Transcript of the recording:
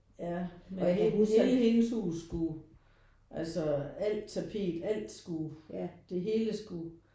Ja og hele hele hendes hus skulle altså alt tapet alt skulle det hele skulle